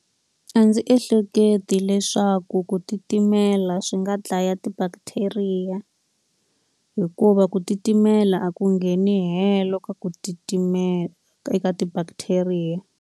A ndzi ehleketi leswaku ku titimela swi nga dlaya ti-bacteria. Hikuva ku titimela a ku ngheni helo ka ku titimela eka ti-bacteria.